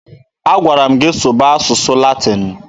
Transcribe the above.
A gwara m gị sụba asụsụ Latin!